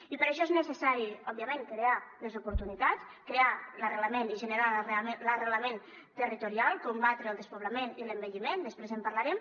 i per a això és necessari òbviament crear les oportunitats crear l’arrelament i generar l’arrelament territorial combatre el despoblament i l’envelliment després en parlarem